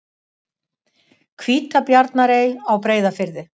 Hvítabjarnarey á Breiðafirði.